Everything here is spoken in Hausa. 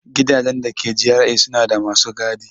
Gidajen da ke GRA suna da masu gadi.